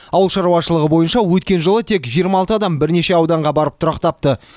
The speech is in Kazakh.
ауыл шаруашылығы бойынша өткен жылы тек жиырма алты адам бірнеше ауданға барып тұрақтапты